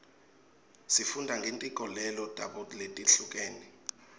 sifunda ngetinkolelo tabo letihlukene